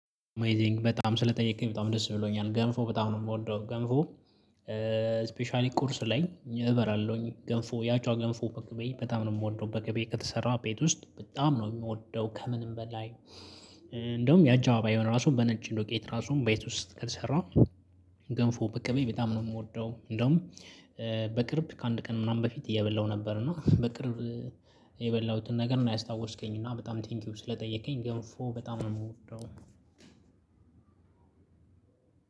አሜዚንግ በጣም ስለጠየከኝ በጣም ደስ ብሎኛል ገንፎ በጣም ነው የምወደው ገንፎ። ስፔሻሊ ቁርስ ላይ እበላለሁኝ ገንፎ ያችዋ ገንፎ በቅቤ በጣም ነው የምወደው በገቤ ከተሰራ ቤት ውስጥ በጣም ነው የምወደው ከምንም በላይ። እንደውም ያችዋ ባይሆን ራሱን በነጭ ዱቄት ራሱን በቤት ውስጥ ከሰራው። ገንፎ በቅቤ በጣም ነው የምወደው። እንደውም በቅርብ ከአንድ ቀን ምናምን በፊት እየበላሁ ነበር። እና በቅርብ የበላሁትን ነገር ነው ያስታወስከኝ። እና በጣም ቴንኪው ስለጠየከኝ ገብፎ በጣም ነው የምወደው።